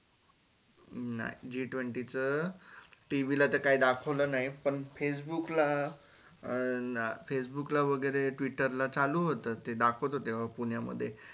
हम्म नाई G Twenty च TV ला तर काय दाखवलं नाई पण facebook ला वगेरे twitter ला चालु होत ते दाखवत होते पुण्यामध्ये